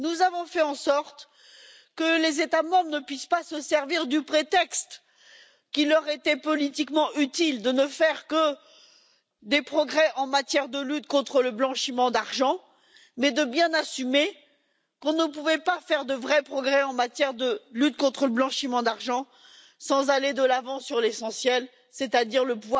Nous avons fait en sorte que les États membres ne puissent pas se servir du prétexte qui leur était politiquement utile des progrès en matière de lutte contre le blanchiment d'argent pour s'en contenter, mais qu'ils assument bien qu'on ne pouvait pas faire de vrais progrès en matière de lutte contre le blanchiment d'argent sans aller de l'avant sur l'essentiel, c'est à dire que